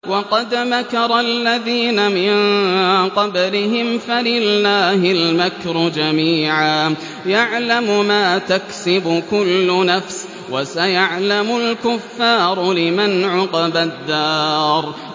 وَقَدْ مَكَرَ الَّذِينَ مِن قَبْلِهِمْ فَلِلَّهِ الْمَكْرُ جَمِيعًا ۖ يَعْلَمُ مَا تَكْسِبُ كُلُّ نَفْسٍ ۗ وَسَيَعْلَمُ الْكُفَّارُ لِمَنْ عُقْبَى الدَّارِ